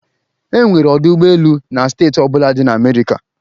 E nwere ọdụ ụgbọ elu na steeti ọ bụla dị na America